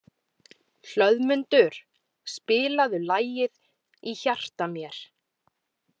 Hlöðmundur, spilaðu lagið „Í hjarta mér“.